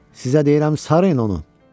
Sizə deyirəm sarıyın onu.